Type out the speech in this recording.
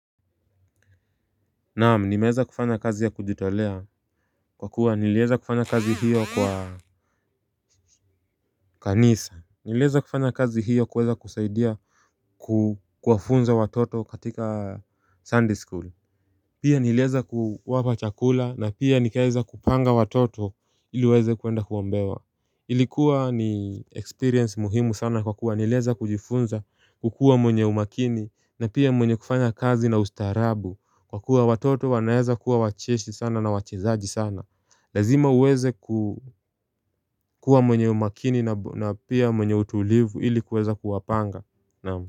Naam nimeza kufanya kazi ya kujitolea kwa kuwa nileza kufanya kazi hiyo kwa kanisa Nileza kufanya kazi hiyo kuweza kusaidia kukwafunza watoto katika sunday school Pia nileza kuwapa chakula na pia nikeza kupanga watoto iliweze kuenda kuombewa Ilikuwa ni experience muhimu sana kwa kuwa nileza kujifunza kukua mwenye umakini na pia mwenye kufanya kazi na ustarabu Kwa kuwa watoto wanaeza kuwa wacheshi sana na wachezaji sana Lazima uweze kukua mwenye umakini na pia mwenye utulivu ilikuweza kuwapanga Namu.